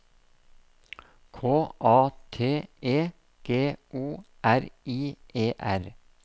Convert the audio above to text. K A T E G O R I E R